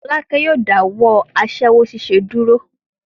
Fọ́lákẹ́ yóò dáwọ́ aṣẹ́wó ṣíṣe dúró.